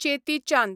Cheti Chand